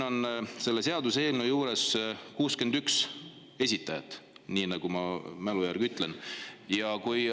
Selle seaduseelnõu on esitanud 61 inimest – ma mälu järgi praegu ütlen.